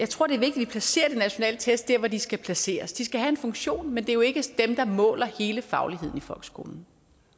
vi placerer de nationale test der hvor de skal placeres de skal have en funktion men det er jo ikke dem der måler hele fagligheden i folkeskolen